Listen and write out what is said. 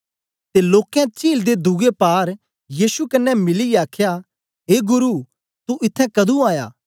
ते लोकें चील दे दुए पार यीशु कन्ने मिलीयै आखया ए गुरु तू इत्त्थैं कदुं आया